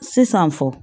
Sisan fɔ